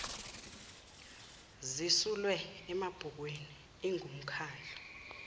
zisulwe emabhukwin ingumkhandlu